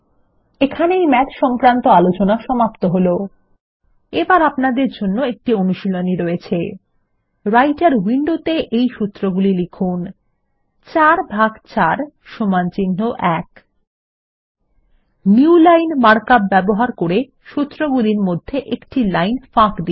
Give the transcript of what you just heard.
এখানেই ম্যাথ সংক্রান্ত আলোচনা সমাপ্ত হল এবার আপনার জন্য একটি অনুশীলনী রয়েছে রাইটের উইন্ডোত়ে এই সূত্রগুলি লিখুন ৪ ভাগ ৪ সমানচিহ্ন ১ নিউলাইন মার্কআপ ব্যবহার করে সুত্রগুলির মধ্যে একটি লাইন ফাঁক দিন